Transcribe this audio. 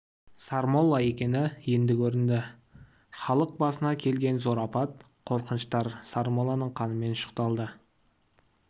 сармолла екені енді көрінді халық басына келген зор апат қорқыныштар сармолланың қанымен ұшықталды